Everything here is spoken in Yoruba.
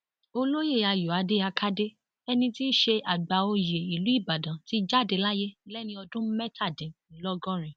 olóye ayọadé àkàdé ẹni ti ṣe àgbà oyè ìlú ìbàdàn ti jáde láyé lẹni ọdún mẹtàdínlọgọrin